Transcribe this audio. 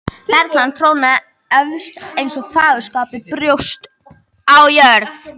Perlan trónaði efst eins og fagurskapað brjóst á Móður jörð.